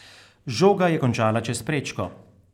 Žoga je končala čez prečko.